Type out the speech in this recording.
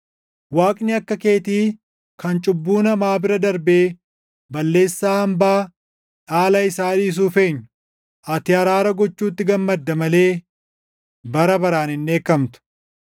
Waaqni akka keetii kan cubbuu namaa bira darbee balleessaa hambaa dhaala isaa dhiisuuf eenyu? Ati araara gochuutti gammadda malee bara baraan hin dheekkamtu.